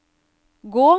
gå